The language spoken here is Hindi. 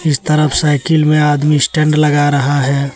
इस तरफ साइकिल में आदमी स्टैंड लगा रहा है।